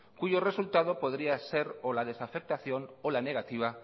cuyo resultado podría ser o la desafectación o la negativa